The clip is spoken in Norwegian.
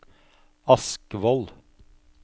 Askvoll